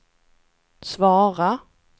svara